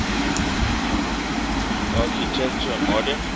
architecture modern